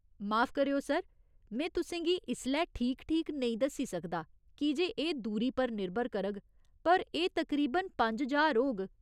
माफ करेओ, सर, में तुसें गी इसलै ठीक ठीक नेईं दस्सी सकदा कीजे एह् दूरी पर निर्भर करग, पर एह् तकरीबन पंज ज्हार होग।